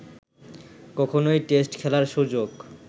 কখনোই টেস্ট খেলার সুযোগ